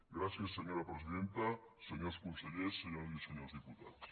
gràcies senyora presidenta senyors consellers senyores i senyors diputats